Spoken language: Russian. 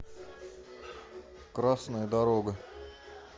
красная дорога